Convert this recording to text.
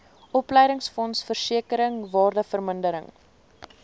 opleidingsfonds versekering waardevermindering